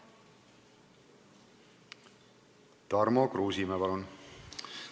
Tarmo Kruusimäe, palun!